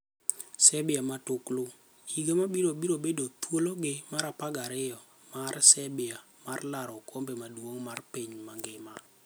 Serbia Matuklu: Higa mabiro biro bedo thuologi mar 12 mar Serbia mar laro okombe maduong' mar piny mangima.